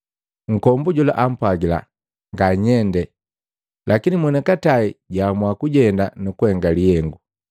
Nkombu jola ampwagila, “Nganyende!” Lakini mwonikatai jwaamua kujenda nukuhenga lihengu.